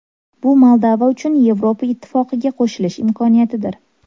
Bu Moldova uchun Yevropa Ittifoqiga qo‘shilish imkoniyatidir.